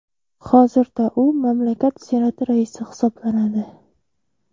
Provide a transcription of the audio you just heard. Hozirda u mamlakat Senati raisi hisoblanadi.